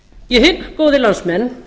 ég hygg góðir landsmenn